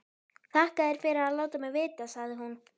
Þakka þér fyrir að láta mig vita, sagði hún.